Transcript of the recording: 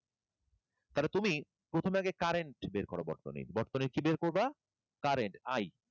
তাহলে তুমি প্রথমে আগে current বের করো বর্তনীর, বর্তনীর কি বের করবা? Current I.